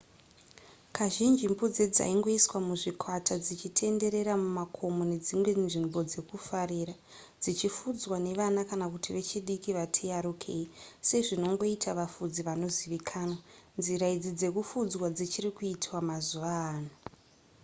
kazhinji mbudzi dzaingoiswa muzvikwata dzichitenderera mumakomo nedzimwe nzvimbo dzekufurira dzichifudzwa nevana kana kuti vechidiki vati yarukei sezvinongoita vafudzi vanozivikanwa nzira idzi dzekufudza dzichiri kuitwa mazuva ano